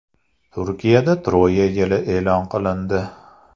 Turkiyada Troya yili e’lon qilindi.